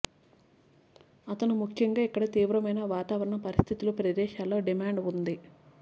అతను ముఖ్యంగా ఇక్కడ తీవ్రమైన వాతావరణ పరిస్థితులు ప్రదేశాల్లో డిమాండ్ ఉంది